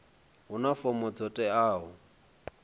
a huna fomo dzo teaho